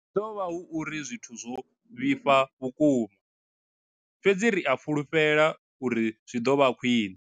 Zwi ḓo vha hu uri zwithu zwo vhifha vhukuma, fhedzi ri a fhulufhela uri zwi ḓo vha khwiṋe.